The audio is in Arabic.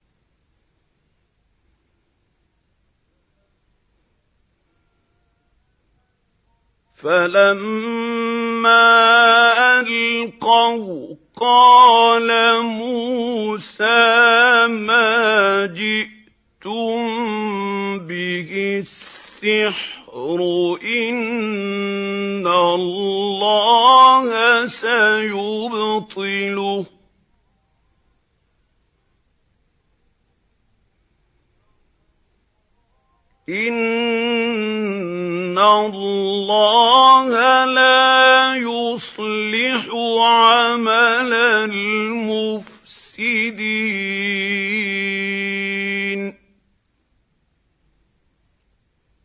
فَلَمَّا أَلْقَوْا قَالَ مُوسَىٰ مَا جِئْتُم بِهِ السِّحْرُ ۖ إِنَّ اللَّهَ سَيُبْطِلُهُ ۖ إِنَّ اللَّهَ لَا يُصْلِحُ عَمَلَ الْمُفْسِدِينَ